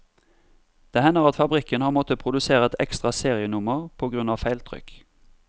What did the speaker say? Det hender at fabrikken har måttet produsere et ekstra serienummer på grunn av feiltrykk.